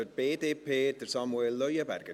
Für die BDP, Samuel Leuenberger.